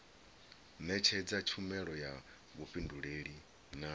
netshedza tshumelo ya vhufhinduleli na